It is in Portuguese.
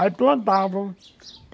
Aí plantavam.